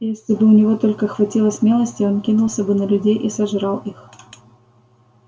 и если бы у него только хватило смелости он кинулся бы на людей и сожрал их